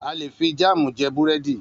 A lè fi jámù jẹ búrẹ́dì.